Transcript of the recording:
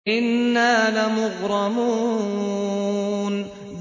إِنَّا لَمُغْرَمُونَ